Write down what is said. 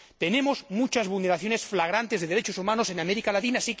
Hay muchas vulneraciones flagrantes de los derechos humanos en América Latina.